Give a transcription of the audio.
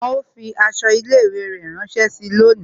Wọn ó fi aṣọ ilé ìwé rẹ ránsẹ́ síi lónìí